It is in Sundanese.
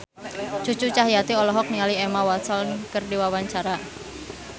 Cucu Cahyati olohok ningali Emma Watson keur diwawancara